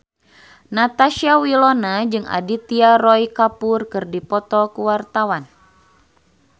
Natasha Wilona jeung Aditya Roy Kapoor keur dipoto ku wartawan